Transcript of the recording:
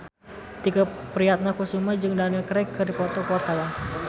Tike Priatnakusuma jeung Daniel Craig keur dipoto ku wartawan